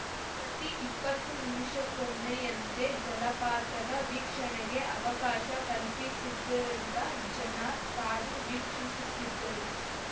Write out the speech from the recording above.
ಪ್ರತಿ ಇಪ್ಪತ್ತು ನಿಮಿಷಕ್ಕೊಮ್ಮೆಯಂತೆ ಜಲಪಾತದ ವೀಕ್ಷಣೆಗೆ ಅವಕಾಶ ಕಲ್ಪಿಸಿದ್ದರಿಂದ ಜನ ಕಾದು ವೀಕ್ಷಿಸುತ್ತಿದ್ದರು